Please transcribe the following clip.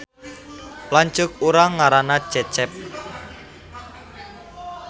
Lanceuk urang ngaranna Cecep